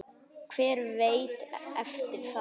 Hver veit eftir það?